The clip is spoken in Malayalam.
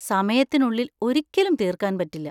സമയത്തിനുള്ളിൽ ഒരിക്കലും തീർക്കാൻ പറ്റില്ല.